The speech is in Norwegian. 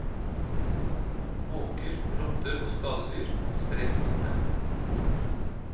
Måker, rotter og skadedyr sprer smitte.